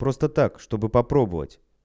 просто так чтобы попробовать